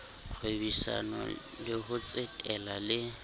kgwebisano le ho tsetela le